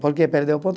Por que perdi o ponto?